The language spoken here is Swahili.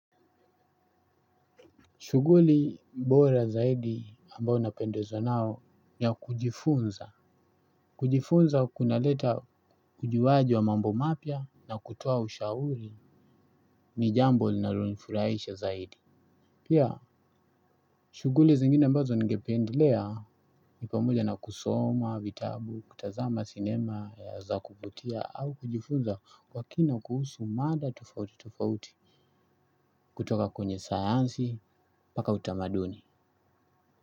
Shuguli bora zaidi ambao napendezwa nao niya kujifunza. Kujifunza kuna leta ujuwaji wa mambo mapya na kutoa ushauri ni jambo linalo nifuraisha zaidi. Pia shuguli zingine ambazo ningependlea ni pamoja na kusoma, vitabu, kutazama, sinema, ya za kuvutia au kujifunza kwa kina kuhusu mada tofauti tofauti kutoka kwenye sayansi paka utamaduni.